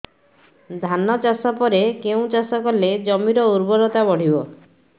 ଧାନ ଚାଷ ପରେ କେଉଁ ଚାଷ କଲେ ଜମିର ଉର୍ବରତା ବଢିବ